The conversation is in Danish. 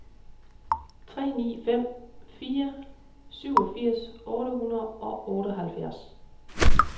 tre ni fem fire syvogfirs otte hundrede og otteoghalvfjerds